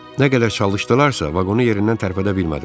Nə qədər çalışdılarsa, vaqonu yerindən tərpədə bilmədilər.